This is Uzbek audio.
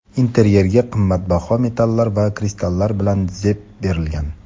Interyerga qimmatbaho metallar va kristallar bilan zeb berilgan.